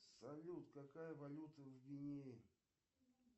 салют какая валюта в гвинее